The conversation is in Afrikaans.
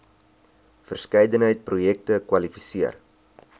verskeidenheid projekte kwalifiseer